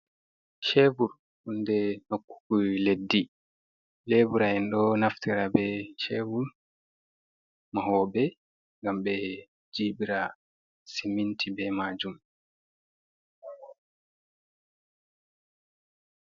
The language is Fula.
Ceevur huunde nokkugo leddi, leebra` en ɗo naftira bee ceevur, mahooɓe ngam ɓe jiiɓira siminti bee maajum.